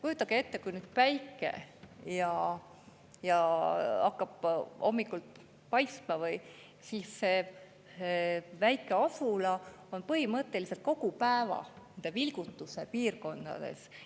Kujutage ette, kui nüüd päike hakkab hommikul paistma, siis see väike asula on põhimõtteliselt kogu päeva selles vilgutuse piirkonnas.